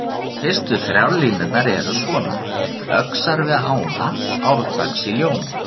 Fyrstu þrjár línurnar eru svona: Öxar við ána árdags í ljóma